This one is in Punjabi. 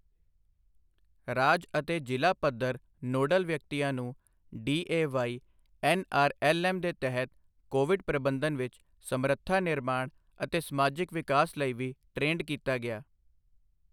ਰਾਜ ਅਤੇ ਜ਼ਿਲ੍ਹਾ ਪੱਧਰ ਨੋਡਲ ਵਿਅਕਤੀਆਂ ਨੂੰ ਡੀਏਵਾਈ ਐੱਨਆਰਐੱਲਐੱਮ ਦੇ ਤਹਿਤ ਕੋਵਿਡ ਪ੍ਰਬੰਧਨ ਵਿੱਚ ਸਮਰੱਥਾ ਨਿਰਮਾਣ ਅਤੇ ਸਮਾਜਿਕ ਵਿਕਾਸ ਲਈ ਵੀ ਟ੍ਰੇਂਡ ਕੀਤਾ ਗਿਆ।